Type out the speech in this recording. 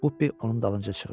Bupi onun dalınca qışqırdı.